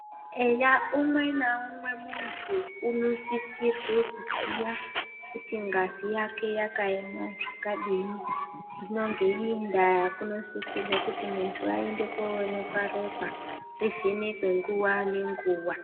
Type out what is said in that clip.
Eya umwe naumwe muntu unosisirwe kuziya kuti ngazi yake yakaema zvakadini. Hino ngeiyi ndaa kunosisirwa kuti muntu aende koonekwa ropa rivhenekwe nguva nenguva.